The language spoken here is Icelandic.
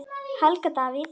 Helgi Davíð.